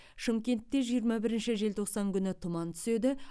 шымкентте жиырма бірінші желтоқсан күні тұман түседі